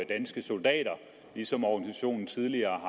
danske soldater ligesom organisationen tidligere